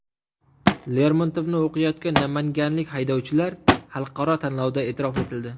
Lermontovni o‘qiyotgan namanganlik haydovchilar xalqaro tanlovda e’tirof etildi .